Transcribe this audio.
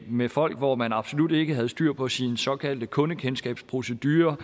med folk hvor man absolut ikke havde styr på sin såkaldte kundekendskabsprocedure og